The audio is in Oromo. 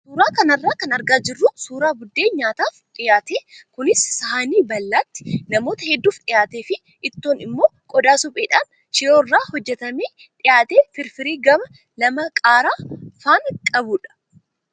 Suuraa kanarraa kan argaa jirru suuraa buddeena nyaataaf dhiyaate kunis saahinii bal'aatti namoota hedduuf dhiyaatee fi ittoon immoo qodaa supheedhaan shiroo irraa hojjatamee dhiyaate firfirii gama lama qaaraa faana qabudha.